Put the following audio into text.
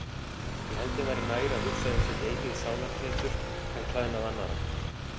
Ég held þeim væri nær að hugsa um sitt eigið sálartetur en klæðnað annarra.